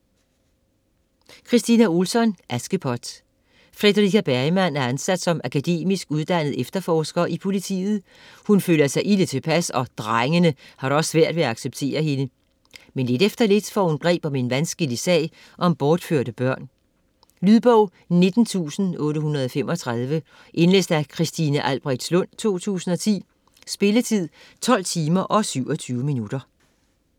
Ohlsson, Kristina: Askepot Fredrika Bergman er ansat som akademisk uddannet efterforsker i politiet, hun føler sig ilde tilpas og "drengene" har da også svært ved at acceptere hende. Men lidt efter lidt får hun greb om en vanskelig sag om bortførte børn. Lydbog 19835 Indlæst af Christine Albrechtslund, 2010. Spilletid: 12 timer, 27 minutter.